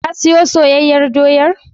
Ka siyo soyayyar doyar?